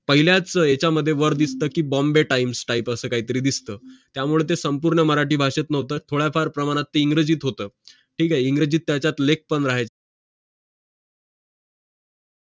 पहिल्याच यामध्येवर दिसतं की बॉम्बे टाइम्स टाइप असं काहीतरी दिसतं त्यामुळे संपूर्ण मराठी भाषेत नव्हता थोड्याफार प्रमाणात इंग्रजीत होतं ठीक आहे इंग्रजी त्यात लेखपण आहेत